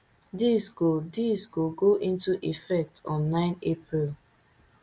dis go dis go go into effect on nine april